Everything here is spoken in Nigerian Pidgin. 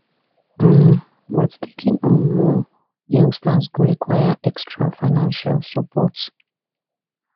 um but taking on more youngsters go require extra financial support